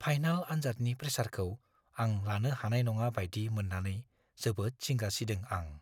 Final आनजादनि प्रेसारखौ आं लानो हानाय नङा बायदि मोन्नानै जोबोद जिंगा सिदों आं।